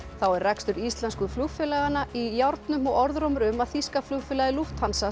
þá er rekstur íslensku flugfélaganna í járnum og orðrómur um að þýska flugfélagið